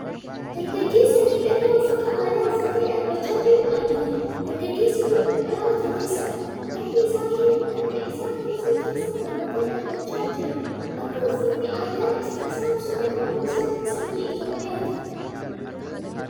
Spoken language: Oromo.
Dargaggeessa miidhagaa uffata aadaa uffatee dhaabachaa jiru argina. Dargaggeessi kun dhaaba toleessadha! Harka isaa kiisii isaa keessa kaawwatee dhaabachaa jira. Akka uffatni aadaa isaa ibsutti qomoon isaa nama sanyii Itoophiyaati.